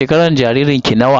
Shekarar jaririn ki nawa?